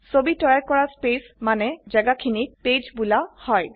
ছবি তৈয়াৰ কৰা স্পেছ মানে জেগাখিনিক পেজ বোলা হয়